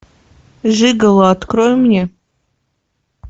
жиголо открой мне